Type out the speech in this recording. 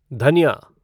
धनिया